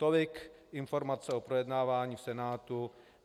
Tolik informace o projednávání v Senátu.